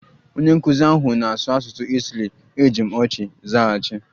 Onye nkụzi ahụ na-asụ asụsụ Itali, eji m ọchị zaghachi